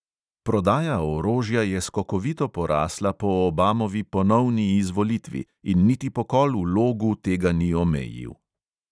Prodaja orožja je skokovito porasla po obamovi ponovni izvolitvi in niti pokol v logu tega ni omejil.